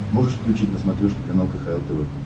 можешь включить на смотрешке канал кхл тв